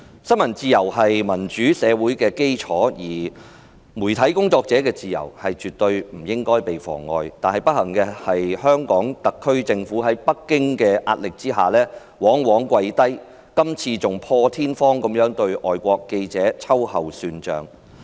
新聞自由是民主社會的基礎，媒體工作者的自由絕對不該被妨礙，但不幸的是，香港特區政府在北京的壓力之下，往往下跪，今次更破天荒地對外國記者秋後算帳。